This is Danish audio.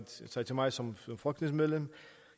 sig til mig som folketingsmedlem